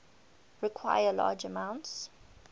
require large amounts